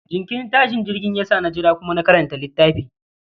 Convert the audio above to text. jinkirin tashin jirgin ya sa na jira kuma na karanta litaffi